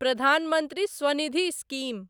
Pradhan Mantri Svanidhi scheme